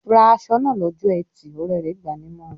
"Ra aṣọ náà lọ́jọ́ ẹtì!" Ọ̀rẹ́ rẹ̀ gbà á nímọ̀ràn.